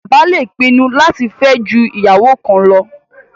Bàbá le pinnu láti fẹ́ ju ìyàwó kan lọ